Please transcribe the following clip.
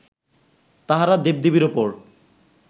তাহারা দেবদেবীর উপর